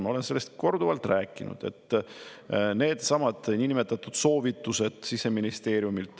Ma olen korduvalt rääkinud nendestsamadest Siseministeeriumi niinimetatud soovitustest.